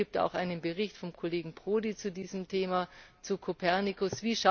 Es gibt auch einen Bericht vom Kollegen Prodi zu diesem Thema, zu COPERNICUS.